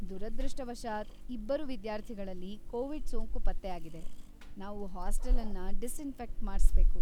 ದುರದೃಷ್ಟವಶಾತ್, ಇಬ್ಬರು ವಿದ್ಯಾರ್ಥಿಗಳಲ್ಲಿ ಕೋವಿಡ್‌ ಸೋಂಕು ಪತ್ತೆ ಆಗಿದೆ, ನಾವು ಹಾಸ್ಟೆಲನ್ನ ಡಿಸ್‌ಇನ್ಫೆಕ್ಟ್‌ ಮಾಡಿಸ್ಬೇಕು.